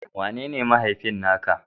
Wanene mahaifinka na ka?